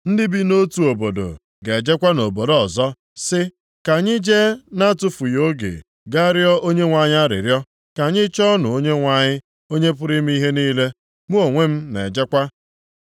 Ndị bi nʼotu obodo ga-ejekwa nʼobodo ọzọ, sị, ‘Ka anyị jee na-atụfughị oge gaa rịọọ Onyenwe anyị arịrịọ, ka anyị chọọnụ Onyenwe anyị, Onye pụrụ ime ihe niile. Mụ onwe m na-ejekwa.’